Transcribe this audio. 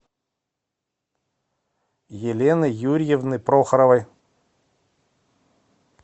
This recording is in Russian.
елены юрьевны прохоровой